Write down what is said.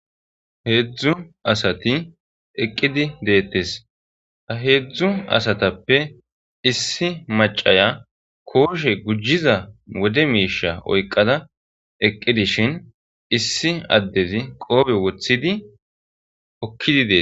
heezu asati eqqidi deettes a heezu asatappe issi macaya kooshe gujiza wode miisha oyqada eqqidishin issi addezi qoobe wothidi okkidi dees